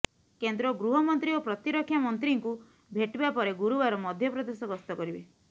କେନ୍ଦ୍ର ଗୃହମନ୍ତ୍ରୀ ଓ ପ୍ରତିରକ୍ଷା ମନ୍ତ୍ରୀଙ୍କୁ ଭେଟିବା ପରେ ଗୁରୁବାର ମଧ୍ୟପ୍ରଦେଶ ଗସ୍ତ କରିବେ